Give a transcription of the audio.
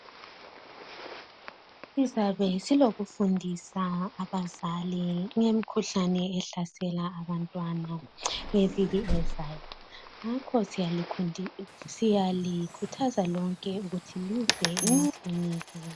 Sizabe silokufundisa abazali ngemikhuhlane ehlasela abantwana ngeviki ezayo. Ngakho siyalikhuthaza lonke ukuthi lize emakiliniki.